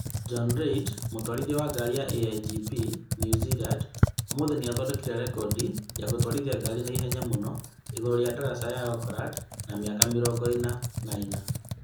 John Reid, mũtwarithia wa ngari ya AIGP New Zealand, ũmũthĩ nĩ aathondekire rekondi ya gũtwarithia ngari na ihenya mũno igũrũ rĩa daraca ya Auckland Harbour ya mĩaka mĩrongo ĩna na ĩnana